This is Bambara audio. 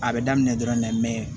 A bɛ daminɛ dɔrɔn dɛ